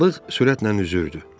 Balıq sürətlə üzürdü.